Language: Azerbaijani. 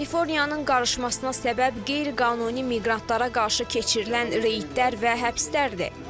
Kaliforniyanın qarışmasına səbəb qeyri-qanuni miqrantlara qarşı keçirilən reydlər və həbslərdir.